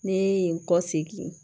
Ne ye n kɔ segin